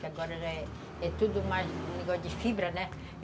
Que agora é tudo mais, negócio de fibra, né?